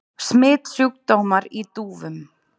Smitsjúkdómar í dúfum.